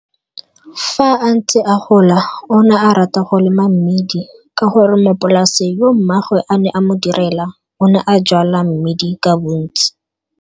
Fa a ntse a gola o ne a rata go lema mmidi, ka gore mopolase yo mmaagwe a ne a mo direla o ne a jwala mmidi ka bontsi.